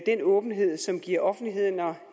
den åbenhed som giver offentligheden og